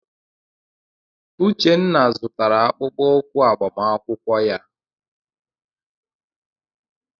Uchenna zụtara akpụkpọ ụkwụ agbamakwụkwọ ya.